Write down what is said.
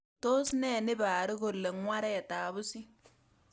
Tos ne niparu kole ng'waret ab pusit